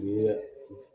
Ni